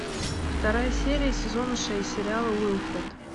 вторая серия сезона шесть сериала уилфред